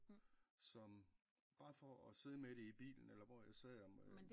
Som bare for at sidde med det i bilen eller hvor jeg sad om